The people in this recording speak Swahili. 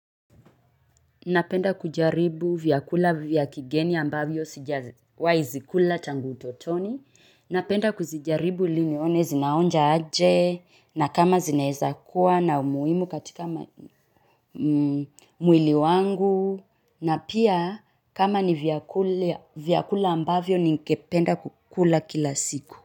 Napenda kujaribu vyakula vya kigeni ambavyo sijawai zikula tangu utotoni. Napenda kujaribu ili nione zinaonja aje na kama zinaeza kuwa na umuhimu katika mwili wangu na pia kama ni vyakula ambavyo ningependa kukula kila siku.